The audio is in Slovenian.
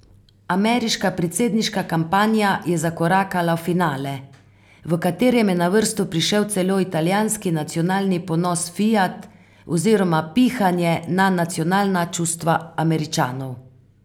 Ameriška predsedniška kampanja je zakorakala v finale, v katerem je na vrsto prišel celo italijanski nacionalni ponos Fiat oziroma pihanje na nacionalna čustva Američanov.